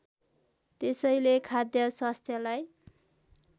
त्यसैले खाद्य स्वास्थ्यलाई